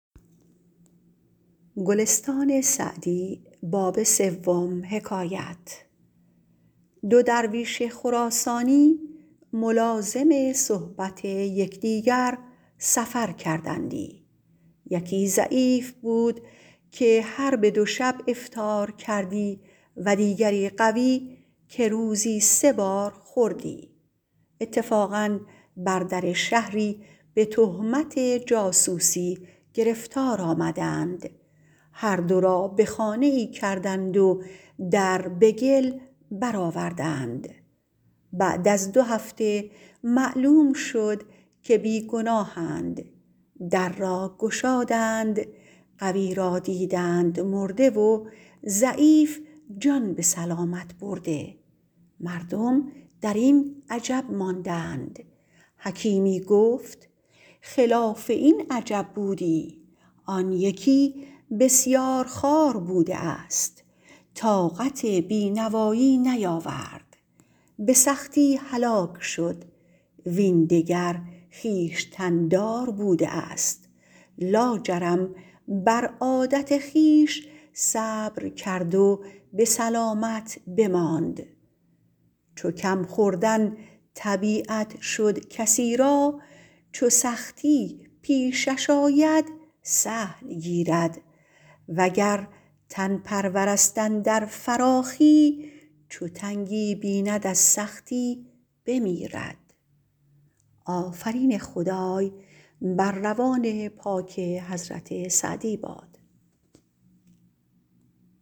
دو درویش خراسانی ملازم صحبت یکدیگر سفر کردندی یکی ضعیف بود که هر به دو شب افطار کردی و دیگر قوی که روزی سه بار خوردی اتفاقا بر در شهری به تهمت جاسوسی گرفتار آمدند هر دو را به خانه ای کردند و در به گل برآوردند بعد از دو هفته معلوم شد که بی ‎گناهند در را گشادند قوی را دیدند مرده و ضعیف جان به سلامت برده مردم در این عجب ماندند حکیمی گفت خلاف این عجب بودی آن یکی بسیارخوار بوده است طاقت بی ‎نوایی نیاورد به سختی هلاک شد وین دگر خویشتن ‎دار بوده است لاجرم بر عادت خویش صبر کرد و به سلامت بماند چو کم ‎خوردن طبیعت شد کسی را چو سختی پیشش آید سهل گیرد وگر تن ‎پرور است اندر فراخی چو تنگی بیند از سختی بمیرد